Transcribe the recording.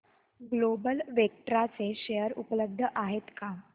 global Vectra चे share उपलब्ध आहेत का